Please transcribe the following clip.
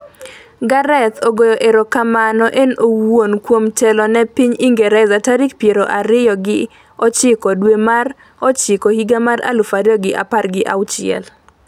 Gareth ogoyo erokamano en owuon kuom telo ne piny Ingresa tarik piero ariyo gi ochiko dwe mar ocghiko higa mar aluf ariyo gi apar gi auchiel